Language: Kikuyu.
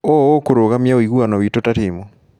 ũũ ũkũrũgamia ũiguano wĩtũ ta timu.